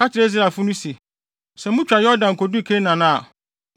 “Ka kyerɛ Israelfo no se, ‘Sɛ mutwa Yordan du Kanaan a,